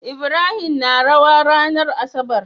Ibrahim na rawa ranar asabar